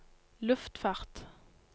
luftfart